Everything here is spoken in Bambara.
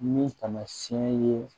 Ni taamasiyɛn ye